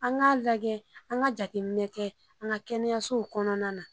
An k' lajɛ an ka jatɛ minɛ kɛ an ka kɛnɛyasow kɔnɔna na.